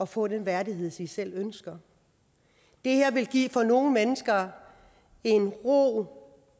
få den værdighed de selv ønsker det her vil give nogle mennesker en ro